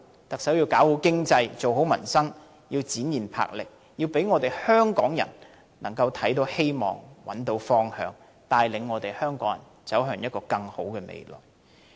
特首要搞好經濟，做好民生，要展現魄力，要讓香港人看到希望、找到方向，帶領香港人走向更好的未來。